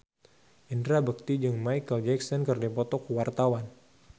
Indra Bekti jeung Micheal Jackson keur dipoto ku wartawan